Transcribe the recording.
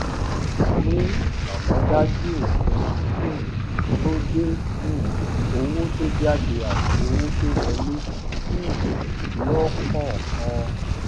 ní àmòdájú òfin um tó de um owó tó jáde àti owó tó wọlé um lókòòkan